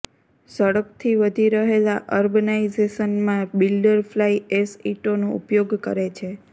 ઝડપથી વધી રહેલા અર્બનાઇઝેશનમાં બિલ્ડર ફ્લાઇ એશ ઇંટોનો ઉપયોગ કરે છે